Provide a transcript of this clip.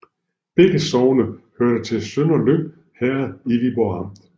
Begge sogne hørte til Sønderlyng Herred i Viborg Amt